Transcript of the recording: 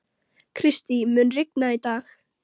Kristý, mun rigna í dag?